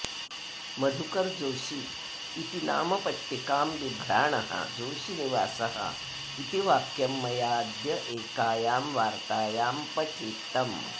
मधुकर जोशी इति नामपट्टिकां बिभ्राणः जोशीनिवासः इति वाक्यं मया अद्य एकायां वार्तायाम् पठितम्